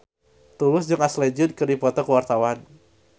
Tulus jeung Ashley Judd keur dipoto ku wartawan